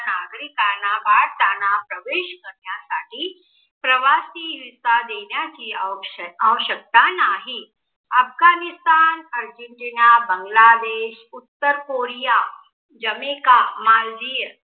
नाना प्रवेश करण्यासाठी प्रवासी देण्याची आवश्यकता आवश्यकतानाही. अफगाणिस्तान, बंगलादेश, आर्जेन्टिना, उत्तर कोरिया, जमेका, मालदीव